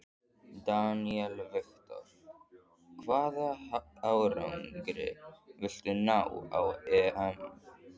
Daniel Victor: Hvaða árangri viltu ná á EM?